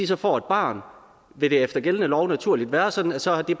så får et barn vil det efter gældende lov naturligt være sådan at så er det